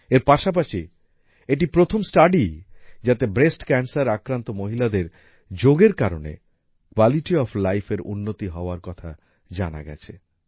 এর পাশাপাশি এটি প্রথম স্টাডি যাতে ব্রেস্ট ক্যানসের আক্রান্ত মহিলাদের যোগ এর কারণে কোয়ালিটি ওএফ লাইফ এর উন্নতি হওয়ার কথা জানা গেছে